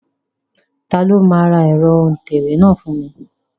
Ta ló máa ra ẹ̀rọ òǹtẹ̀wé náà fún mi?